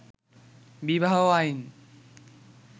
বিবাহ আইন